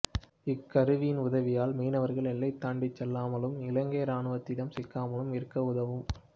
இக்கருவியின் உதவியால் மீனவர்கள் எல்லை தாண்டிச் செல்லாமலும் இலங்கை ராணுவத்திடம் சிக்காமலும் இருக்க உதவும்